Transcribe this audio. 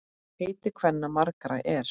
Heiti kvenna margra er.